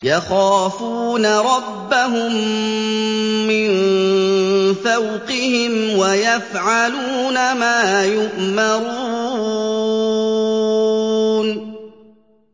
يَخَافُونَ رَبَّهُم مِّن فَوْقِهِمْ وَيَفْعَلُونَ مَا يُؤْمَرُونَ ۩